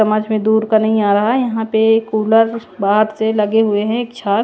समझ में दूर का नहीं आ रहा यहां पे कूलर बाहर से लगे हुए हैं एक छत--